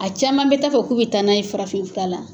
A caman bɛ taa a fɔ k'u bɛ taa n'a ye farafin fura la.